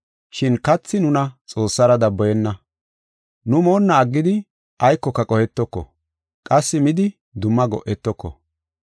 Shin kathi nuna Xoossara daboyenna. Nu moonna aggidi aykoka qohetoko; qassi midi dumma go7etoko.